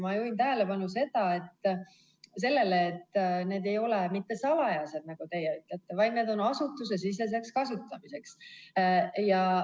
Ma juhin tähelepanu sellele, et need ei ole mitte salajased, nagu teie ütlete, vaid need on asutusesiseseks kasutamiseks.